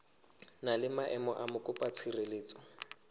na le maemo a mokopatshireletso